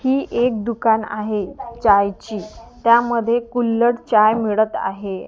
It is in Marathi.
ही एक दुकान आहे चाय ची त्यामध्ये कुल्लड चाय मिळत आहे.